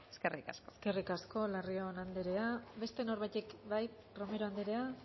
eskerrik asko eskerrik asko larrion anderea beste norbaitek bai romero anderea